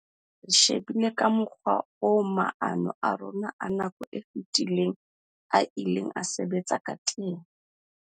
"Re shebile ka mokgwa oo maano a rona a nako e fetileng a ileng a sebetsa ka teng."